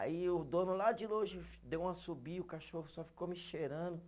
Aí o dono lá de longe deu um assobio, o cachorro só ficou me cheirando.